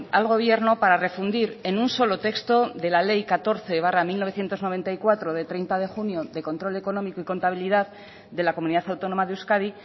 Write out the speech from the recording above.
al gobierno para refundir en un solo texto de la ley catorce barra mil novecientos noventa y cuatro de treinta de junio de control económico y contabilidad de la comunidad autónoma de euskadi